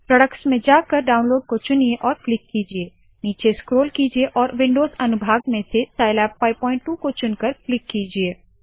products products में जाकर download को चुनिए और क्लिक कीजिये नीचे स्क्रोल कीजिये और विन्डोज़ अनुभाग में से साइलैब 522 को चुनकर क्लिक कीजिये